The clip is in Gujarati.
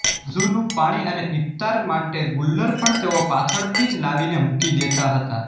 વુઝૂનું પાણી અને ઇફતાર માટે ગુલ્લર પણ તેઓ પાછળથી જ લાવીને મૂકી દેતા હતા